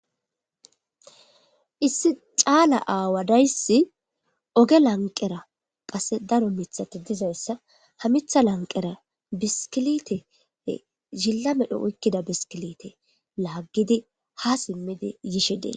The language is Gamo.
Issi caala aawadayssi oge lanqera qase daro mithati dizayssa hamitha lanqera biskilite zilla medho oykkida biskilite laaggidi ha simmidi yishe dee.